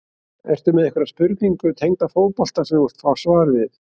Ertu með einhverja spurningu tengda fótbolta sem þú vilt fá svar við?